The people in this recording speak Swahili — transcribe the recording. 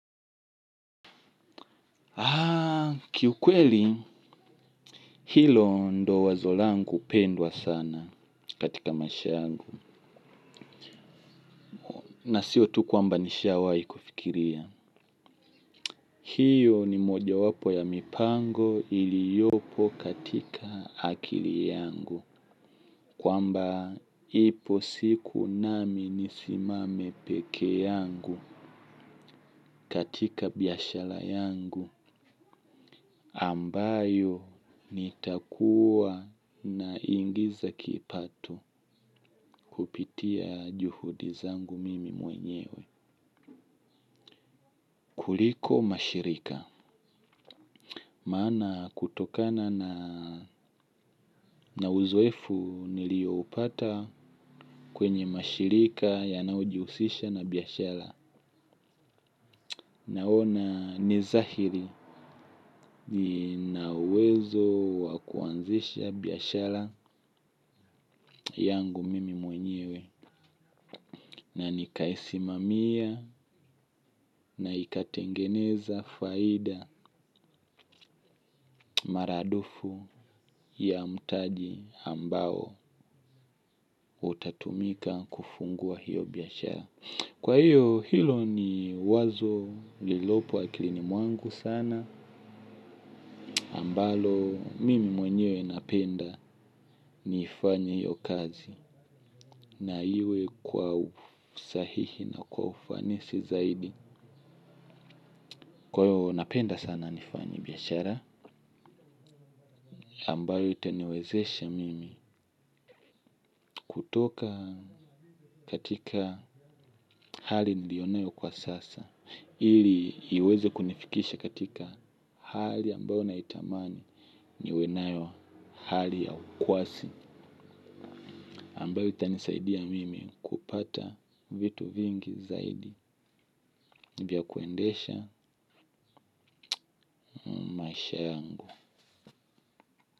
Kiukweli hilo ndo wazo langu pendwa sana katika maisha yangu na sio tu kwamba nishawai kufikiria. Hiyo ni moja wapo ya mipango iliyopo katika akili yangu. Kwamba ipo siku nami nisimame peke yangu katika biashara yangu ambayo nitakua na ingiza kipato kupitia juhudi zangu mimi mwenyewe kuliko mashirika maana kutokana na uzoefu nilioupata kwenye mashirika yanayojihusisha na biashara naona nizahiri na uwezo wakuanzisha biashara yangu mimi mwenyewe na nikaisimamia na ikatengeneza faida. Maradufu ya mtaji ambao utatumika kufungua hiyo biashara. Kwa hiyo hilo ni wazo lilopo akilini mwangu sana ambalo mimi mwenyewe napenda niifanye hiyo kazi. Na iwe kwa usahihi na kwa ufanisi zaidi. Kwa hiyo napenda sana nifanye biashara ambayo itaniwezeshe mimi kutoka katika hali nilionayo kwa sasa. Ili iweze kunifikisha katika hali ambayo naitamani niwenayo hali ya ukwasi ambayo itanisaidia mimi kupata vitu vingi zaidi. Nivyakuendesha maisha yangu.